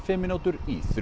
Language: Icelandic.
fimm